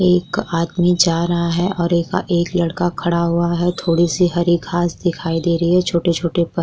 एक आदमी जा रहा है और एक एक लड़का खड़ा हुआ है थोड़ी से हरी घास दिखाई दे रही है छोटे-छोटे पत -